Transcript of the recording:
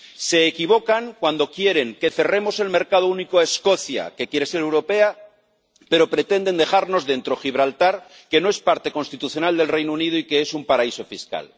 Se equivocan cuando quieren que cerremos el mercado único a Escocia, que quiere ser europea, pero pretenden dejarnos dentro Gibraltar, que no es parte constitucional del Reino Unido y que es un paraíso fiscal.